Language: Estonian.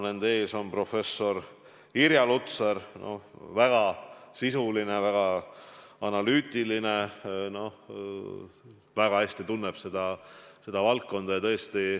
Nende ees on professor Irja Lutsar – väga sisuline, väga analüütiline, väga hästi tunneb seda valdkonda.